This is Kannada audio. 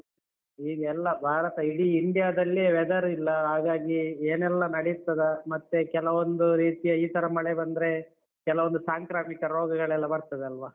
ಈಗ ಎಲ್ಲ ಭಾರತ ಇಡೀ India ದಲ್ಲೇ weather ರಿಲ್ಲ, ಹಾಗಾಗಿ ಏನೆಲ್ಲ ನಡೀತದ ಮತ್ತೆ ಕೆಲವೊಂದು ರೀತಿಯ ಈ ತರ ಮಳೆ ಬಂದ್ರೆ, ಕೆಲವೊಂದು ಸಾಂಕ್ರಾಮಿಕ ರೋಗಗಳೆಲ್ಲ ಬರ್ತದಲ್ವಾ?